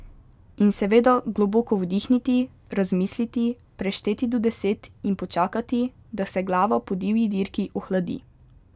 In seveda globoko vdihniti, razmisliti, prešteti do deset in počakati, da se glava po divji dirki ohladi.